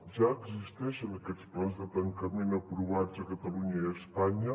ja existeixen aquests plans de tancament aprovats a catalunya i a espanya